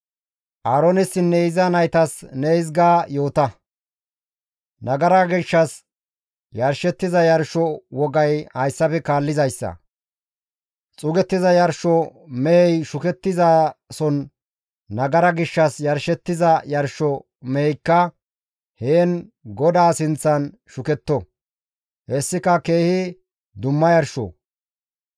«Aaroonessinne iza naytas ne hizga yoota, ‹Nagara gishshas yarshettiza yarsho wogay hayssafe kaallizayssa, Xuugettiza yarsho mehey shukettizason nagara gishshas yarshettiza yarsho meheykka heen GODAA sinththan shuketto; hessika keehi dumma yarsho.